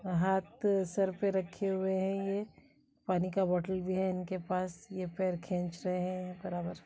हाथ सर पे रखे हुए हैं ये पानी- का बोटल भी है इनके पास ये पैर खेंच रहे हैं बराबर।